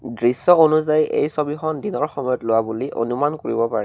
দৃশ্য অনুযায়ী এই ছবিখন দিনৰ সময়ত লোৱা বুলি অনুমান কৰিব পাৰ--